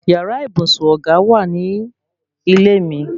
Yàrá ibùsùn ọ̀gá wà ní ilé mi